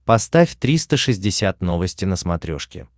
поставь триста шестьдесят новости на смотрешке